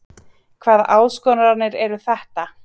Hvaða áskoranir eru þetta?